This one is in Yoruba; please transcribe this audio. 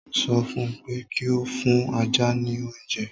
Mo ṣọ fún pé kí ó fún ajá ní oúnje!